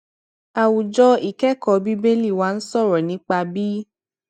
àwùjọ ìkékòó bíbélì wa ń sòrò nípa bí